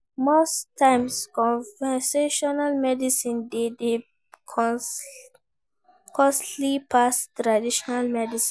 Most times conventional medicine de dey costly pass traditional medicine